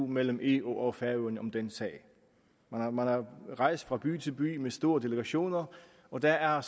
mellem eu og færøerne om den sag man har rejst fra by til by med store delegationer og der er